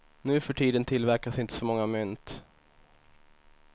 Nuförtiden tillverkas inte så många mynt.